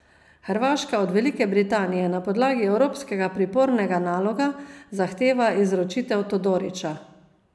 Hrvaška od Velike Britanije na podlagi evropskega pripornega naloga zahteva izročitev Todorića.